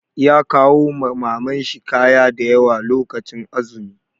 Ya kawo ma Maman shi kaya da yawa lokacin azumi.